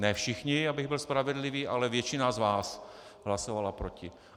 Ne všichni, abych byl spravedlivý, ale většina z vás hlasovala proti.